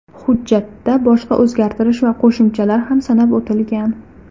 Hujjatda boshqa o‘zgartirish va qo‘shimchalar ham sanab o‘tilgan.